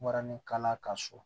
Moranikala ka so